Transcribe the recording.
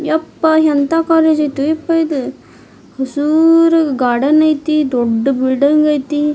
ಯಪ್ಪಾ ಎಂತ ಕಾಲೇಜ್ ಆಯ್ತ ಯಪ್ಪಾ ಇದು ಹಸುರ್ ಗಾರ್ಡನ್ ಆಯ್ತಿ ದೊಡ್ಡ ಬಿಲ್ಡಿಂಗ್ ಆಯ್ತಿ.